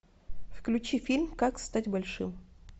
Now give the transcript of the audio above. включи фильм как стать большим